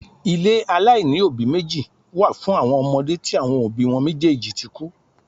Ilé aláìní òbí meji wá fún àwọn ọmọde tí àwọn òbí wọn méjèèjì tí kú